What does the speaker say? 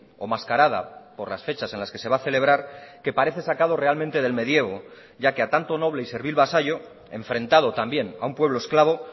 o mascarada por las fechas en las que se va a celebrar que parece sacado realmente del medievo ya que a tanto noble y servil vasallo enfrentado también a un pueblo esclavo